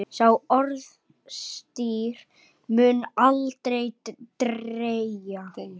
Sá orðstír mun aldrei deyja.